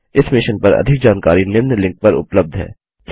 इस मिशन पर अधिक जानकारी निम्न लिंक पर उपलब्ध है